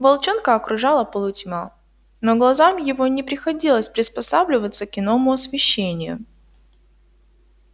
волчонка окружала полутьма но глазам его не приходилось приспосабливаться к иному освещению